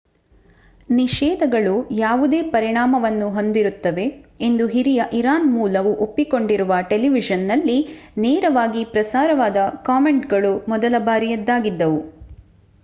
ನಿಷೇಧಗಳು ಯಾವುದೇ ಪರಿಣಾಮವನ್ನು ಹೊಂದಿರುತ್ತವೆ ಎಂದು ಹಿರಿಯ ಇರಾನ್‌ ಮೂಲವು ಒಪ್ಪಿಕೊಂಡಿರುವ ಟೆಲಿವಿಷನ್‌ನಲ್ಲಿ ನೇರವಾಗಿ ಪ್ರಸಾರವಾದ ಕಾಮೆಂಟ್‌ಗಳು ಮೊದಲ ಬಾರಿಯದಾಗಿದ್ದವು